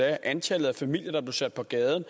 at antallet af familier der blev sat på gaden